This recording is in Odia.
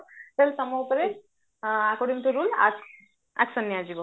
ତାହେଲେ according to rule ଆକ action ନିଆଯିବ